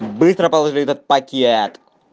быстро положи этот пакет